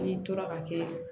N'i tora ka kɛ